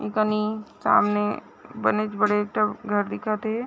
एकनि सामने बनीच बड़ेट घर दिखत हे ।